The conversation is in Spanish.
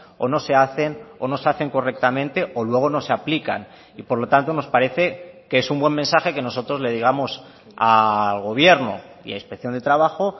o no se hacen o no se hacen correctamente o luego no se aplican y por lo tanto nos parece que es un buen mensaje que nosotros le digamos al gobierno y a inspección de trabajo